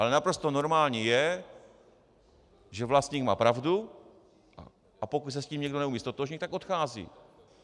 Ale naprosto normální je, že vlastník má pravdu, a pokud se s tím někdo neumí ztotožnit, tak odchází.